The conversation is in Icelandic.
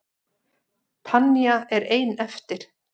Tanya er ein eftir.